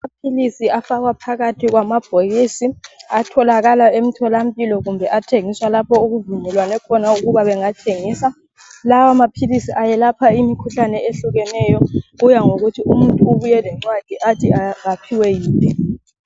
Amaphilizi afakwa phakathi kwamabhokisi atholakala emtholampilo kumbe athengiswa lapho okuvumbuluke khona ukuba bangathengisa. Lawa amaphilizi ayelapha imikhuhlane ehlukeneyo kuya ngokuthi umuntu ubuye lencwadi ethi kaphiwe waphi.